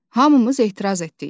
Hamımız etiraz etdik.